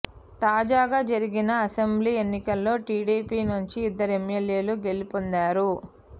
తాజాగా జరిగిన అసెంబ్లీ ఎన్నికల్లో టీడీపీ నుంచి ఇద్దరు ఎమ్మెల్యేలు గెలుపొందారు